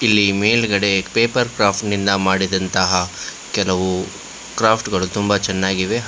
ಇಲ್ಲಿ ಮೇಲ್ಗಡೆ ಪೇಪರ್ಕ್ರಾಫ್ಟ್ ನಿಂದ ಮಾಡಿದಂತಹ ಕೆಲವು ಕ್ರಾಫ್ಟ್ ಗಳು ತುಂಬಾ ಚೆನ್ನಾಗಿವೆ ಹಾ--